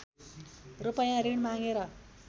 रूपैयाँ ऋण मागेर